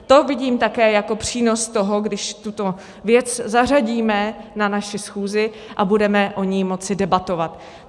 To vidím také jako přínos toho, když tuto věc zařadíme na naši schůzi a budeme o ní moci debatovat.